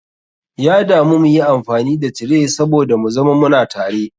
Ya damu muyi amfani da tray saboda mu zama muna tare.